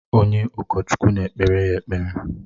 Onye ụkọchukwu na-ekpere ya ekpere.